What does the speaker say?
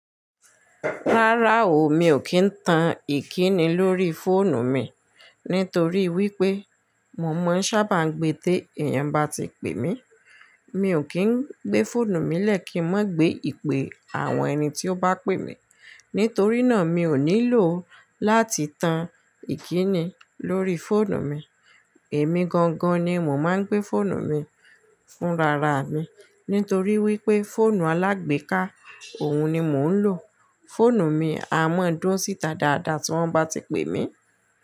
Rárá o, mi ò kí ń tan ìkíni lórí fóònù mi nítorí wípé mo mọ ń sábà gbé té èèyàn bá ti pè mí. Mi ò kí ń gbé fóònù mi lẹ́kìí mọ́ gbé ìpè àwọn ẹni tí ó bá pè mí. Nítorí náà, mi ò nílò láti tan ìkíni lórí fóònù mi. Èmi gangan ni mò máa ń gbé fóònù mi fúnra ra mi nítorí wípé fóònù alágbèéká òun ni mò ń lò. Fóònù mi a máa dún síta dáadáa tí wọ́n bá ti pè mí.